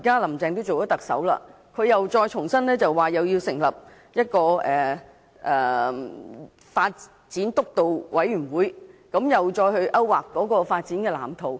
"林鄭"現在已當上特首，又說要重新成立基層醫療發展督導委員會，再次勾劃發展藍圖。